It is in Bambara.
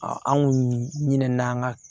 an kun ɲinɛn'an ka